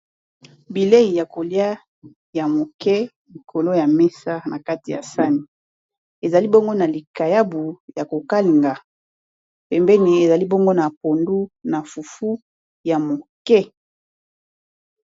bilei ya kolia ya moke likolo ya mesa na kati ya sani ezali bongo na likayabu ya kokalinga pembeni ezali bongo na pondu na fufu ya moke